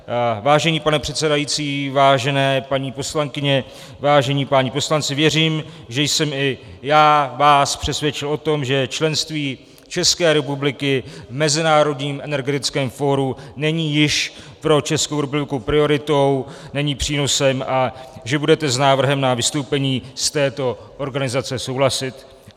Vážený pane předsedající, vážené paní poslankyně, vážení páni poslanci, věřím, že jsem i já vás přesvědčil o tom, že členství České republiky v Mezinárodním energetickém fóru není již pro Českou republiku prioritou, není přínosem, a že budete s návrhem na vystoupení z této organizace souhlasit.